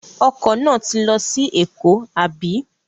Ọkọ̀ náà ti lọ sí Èkó, àbí?